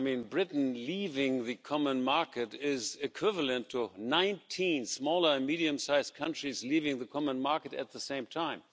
Britain leaving the common market is equivalent to 19 small and medium-sized countries leaving the common market at the same time.